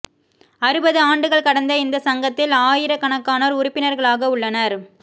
அறுபது ஆண்டுகள் கடந்த இந்த சங்கத்தில் ஆயிரக்கணக்கானோர் உறுப்பினர்களாக உள்ளனர்